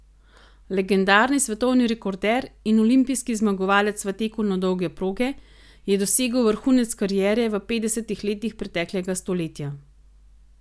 Legendarni svetovni rekorder in olimpijski zmagovalec v teku na dolge proge je dosegel vrhunec kariere v petdesetih letih preteklega stoletja.